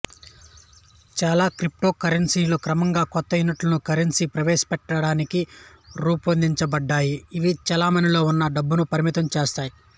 చాలా క్రిప్టోకరెన్సీలు క్రమంగా కొత్త యూనిట్ల కరెన్సీని ప్రవేశపెట్టడానికి రూపొందించబడ్డాయి ఇవి చెలామణిలో ఉన్న డబ్బును పరిమితం చేస్తాయి